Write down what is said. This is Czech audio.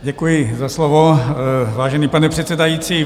Děkuji za slovo, vážený pane předsedající.